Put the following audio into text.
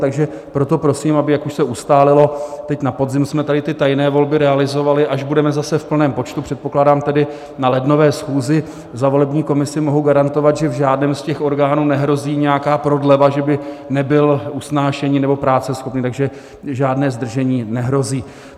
Takže proto prosím, aby, jak už se ustálilo, teď na podzim jsme tady ty tajné volby realizovali, až budeme zase v plném počtu, předpokládám tedy na lednové schůzi, za volební komisi mohu garantovat, že v žádném z těch orgánů nehrozí nějaká prodleva, že by nebyl usnášení- nebo práceschopný, takže žádné zdržení nehrozí.